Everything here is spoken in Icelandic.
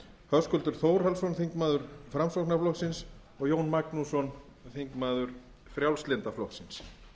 höskuldur þórhallsson þingmenn framsóknarflokksins og jón magnússon þingmaður frjálslynda flokksins